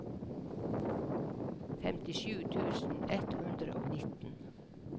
femtisju tusen ett hundre og nitten